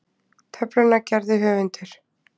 Töfluna gerði höfundur.